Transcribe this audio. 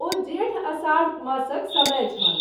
ओ जेठ आषाढ़ मासक समय छल।